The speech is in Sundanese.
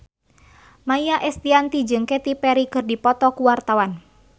Maia Estianty jeung Katy Perry keur dipoto ku wartawan